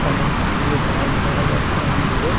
অনেক গুলি গাছ দেখা যাচ্ছে অনেক দূরে।